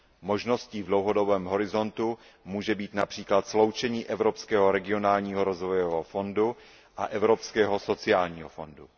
Možností v dlouhodobém horizontu může být například sloučení Evropského regionálního rozvojového fondu a Fvropského sociálního fondu.